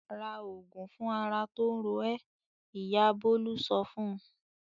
"Ra òògùn fún ara tó ń ro ẹ́!" Ìyá Bólú sọ fún un.